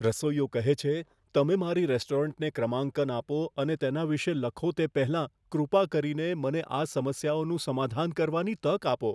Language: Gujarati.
રસોઈયો કહે છે, તમે મારી રેસ્ટોરન્ટને ક્રમાંકન આપો અને તેના વિશે લખો તે પહેલાં કૃપા કરીને મને આ સમસ્યાઓનું સમાધાન કરવાની તક આપો.